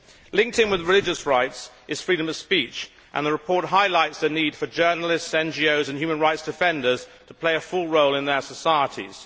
Linked in with the religious rights is freedom of speech, and the report highlights the need for journalists, NGOs and human rights defenders to play a full role in their societies.